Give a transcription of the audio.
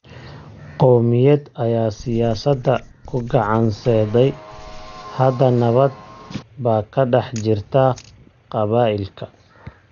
Qowmiyad ayaa siyaasadda ku gacan saydhay. Hadda nabad baa ka dhex jirta qabaa�ilka.